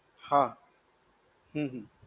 હા. હમ હમ.